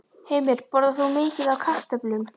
Heimir: Borðar þú mikið af kartöflum?